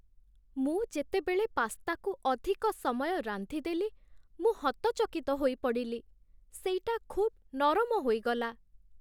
ମୁଁ ଯେତେବେଳେ ପାସ୍ତାକୁ ଅଧିକ ସମୟ ରାନ୍ଧିଦେଲି, ମୁଁ ହତଚକିତ ହୋଇପଡ଼ିଲି, ସେଇଟା ଖୁବ୍ ନରମ ହୋଇଗଲା।